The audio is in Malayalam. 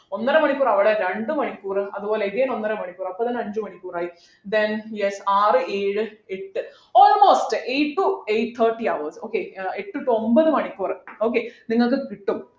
ഒന്നര മണിക്കൂർ അവിടെ രണ്ടുമണിക്കൂർ അതുപോലെ again ഒന്നരമണിക്കൂർ അപ്പത്തന്നെ അഞ്ചു മണിക്കൂറായി then yes ആറു ഏഴു എട്ടു almost eight to eight thirty hours okay ഏർ എട്ടു to ഒമ്പത് മണിക്കൂർ okay നിങ്ങൾക്ക് കിട്ടും